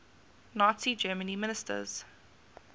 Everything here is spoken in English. nazi germany ministers